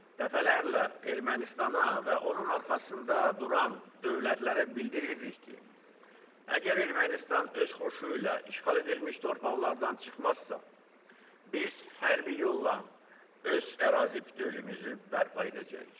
Dəfələrlə Ermənistana və onun arxasında duran dövlətlərə bildirirdik ki, əgər Ermənistan öz xoşu ilə işğal edilmiş torpaqlardan çıxmazsa, biz hərbi yolla öz ərazi bütövlüyümüzü bərpa edəcəyik.